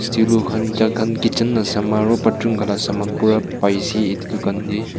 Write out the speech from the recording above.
khan kitchen la saman aro bathroom khan la saman pura pai si iti dukan tey.